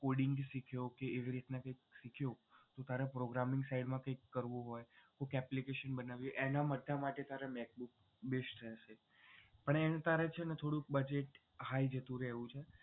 coading ભી શીખ્યો કે એવી રીતના કે તું તારે programming સાઇડ માંથી કરવું હોય application બનાવવી હોય એના માટે તારે macbook best રેહશે પણ એનું તારે budget થોડું high જેટલું રેહવું છે.